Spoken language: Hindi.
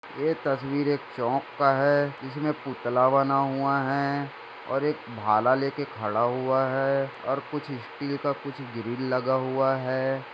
ये तस्वीर एक चौक की हैं जिसमे पुतला बना हुआ हैं और एक भाला बना हुआ हैं और कुछ स्टील का कुछ ग्रिल लगा हुआ हैं।